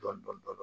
Dɔɔnin dɔɔnin